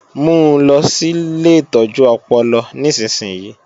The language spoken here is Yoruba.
Mu lọ sí ilé ìtọ́jú ọpọlọ nísinsìnyí!